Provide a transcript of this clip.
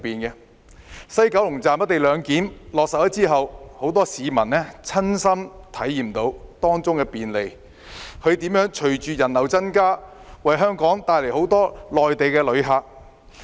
在西九龍站落實"一地兩檢"後，很多市民親身體驗到當中的便利；隨着人流增加，亦為香港帶來很多內地旅客。